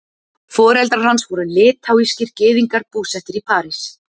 Foreldrar hans voru litháískir gyðingar, búsettir í París.